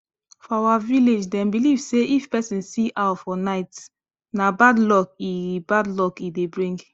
for our village them believe say if persin see owl for night na bad luck e bad luck e dey bring